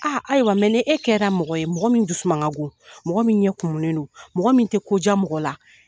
A ayiwa mɛ ni e kɛra mɔgɔ ye , mɔgɔ min dusuman ka go, mɔgɔ min ye kumunen don, mɔgɔ min tɛ ko diya mɔgɔ la.